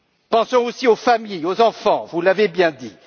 Pensons aussi aux familles, aux enfants, vous l'avez bien dit.